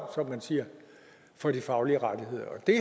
som man siger for de faglige rettigheder det